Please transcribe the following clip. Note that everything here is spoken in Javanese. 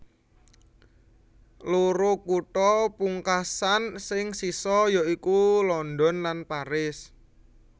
Loro kutha pungkasan sing sisa ya iku London lan Paris